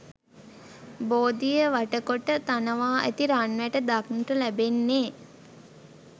බෝධිය වටකොට තනවා ඇති රන්වැට දක්නට ලැබෙන්නේ